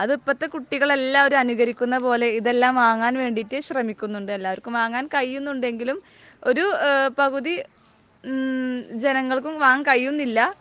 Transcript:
അത് ഇപ്പോഴത്തെ കുട്ടികൾ എല്ലാവരും അനുകരിക്കുന്ന പോലെ ഇത് ഇതെല്ലാം വാങ്ങാൻ വേണ്ടിയിട്ട് ശ്രമിക്കുന്നുണ്ട്. എല്ലാവർക്കും വാങ്ങാൻ കഴിയുന്നുണ്ട് എങ്കിലും ഒരു പകുതി ജനങ്ങൾക്കും വാങ്ങാൻ കഴിയുന്നില്ല